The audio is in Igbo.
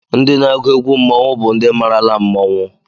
Ndị na-agụ egwú mmọnwụ bụ ndị marala mmọnwụ